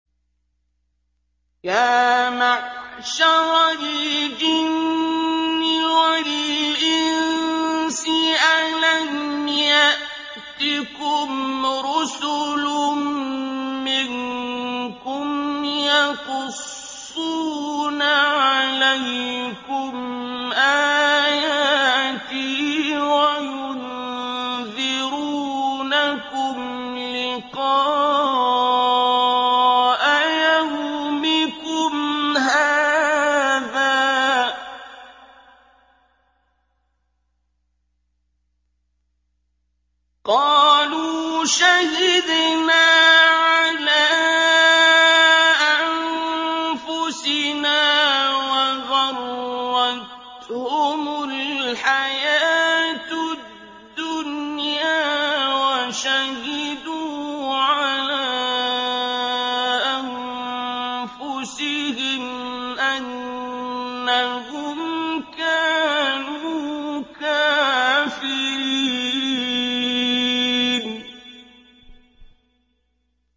يَا مَعْشَرَ الْجِنِّ وَالْإِنسِ أَلَمْ يَأْتِكُمْ رُسُلٌ مِّنكُمْ يَقُصُّونَ عَلَيْكُمْ آيَاتِي وَيُنذِرُونَكُمْ لِقَاءَ يَوْمِكُمْ هَٰذَا ۚ قَالُوا شَهِدْنَا عَلَىٰ أَنفُسِنَا ۖ وَغَرَّتْهُمُ الْحَيَاةُ الدُّنْيَا وَشَهِدُوا عَلَىٰ أَنفُسِهِمْ أَنَّهُمْ كَانُوا كَافِرِينَ